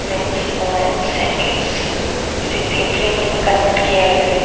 Mains women's and kids ऐसे तीन flavour में कन्वर्ट किया गया है।